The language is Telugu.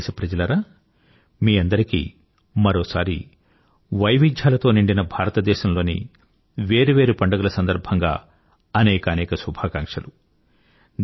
నా ప్రియమైన దేశ ప్రజలారా మీ అందరికీ మరోసారి వైవిధ్యాలతో నిండిన భారతదేశంలోని వేరు వేరు పండుగల సందర్భంగా అనేకానేక శుభాకాంక్షలు